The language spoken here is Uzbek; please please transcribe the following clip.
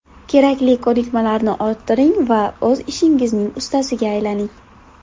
Kerakli ko‘nikmalarni orttiring va o‘z ishingizning ustasiga aylaning.